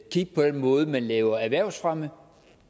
kigge på den måde man laver erhvervsfremme